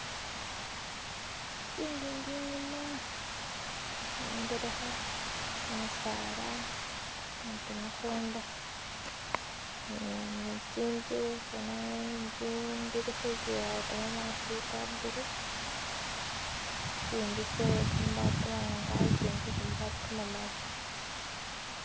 Tsingingi inyuma-ingelekha, kimisala ne kimikunda ne tsinzu boona tse kamabaati ka bulu, itsindi tse kabaati kamawanga, ikindi iye kamabati kamamali.